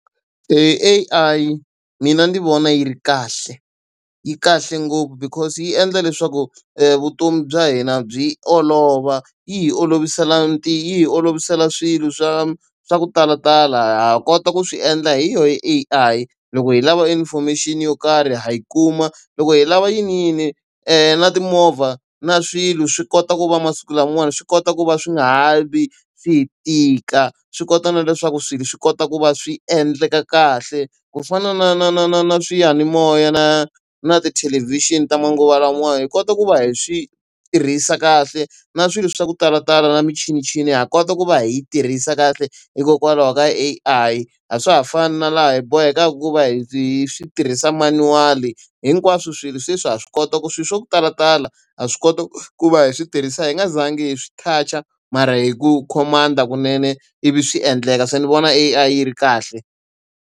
A_I mina ndzi vona yi ri kahle, yi kahle ngopfu because yi endla leswaku vutomi bya hina byi olova. Yi hi olovisela hi yi olovisela swilo swa swa ku talatala ha kota ku swi endla hi yona A_I. Loko hi lava information yo karhi ha yi kuma, loko hi lava yiniyini na timovha na swilo swi kota ku va masiku lamawani swi kota ku va swi nga ha vi swi tika. Swi kota na leswaku swilo swi kota ku va swi endleka kahle, ku fana na na na na na swiyanimoya na na tithelevhixini ta manguva lamawani hi kota ku va hi swi tirhisa kahle. Na swilo swa ku talatala na michinichini ha kota ku va hi yi tirhisa kahle hikokwalaho ka A_I. A swa ha fani na laha hi bohekaka ku va hi hi swi tirhisa manual-i, hinkwaswo swilo sweswi ha swi kota ku swilo swo talatala ha swi koti ku va hi switirhisiwa hi nga zangi hi swi touch-a mara hi ku command-a kunene, ivi swi endleka. So ni vona A_I yi ri kahle.